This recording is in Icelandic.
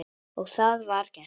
Og það var gert.